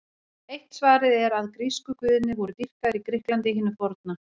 Eitt svarið er að grísku guðirnir voru dýrkaðir í Grikklandi hinu forna.